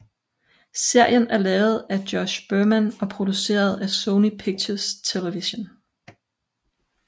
Serien er lavet af Josh Berman og produceret af Sony Pictures Television